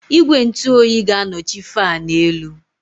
Igwe ntụ oyi ga-anọchi fáan élú